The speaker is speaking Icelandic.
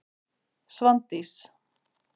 Svandís